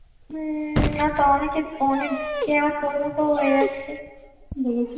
হম অনেকে অনেকে আবার তোর মত হয়ে যাচ্ছে দেখেছিস